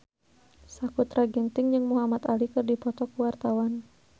Sakutra Ginting jeung Muhamad Ali keur dipoto ku wartawan